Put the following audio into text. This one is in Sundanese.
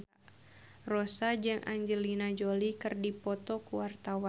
Rossa jeung Angelina Jolie keur dipoto ku wartawan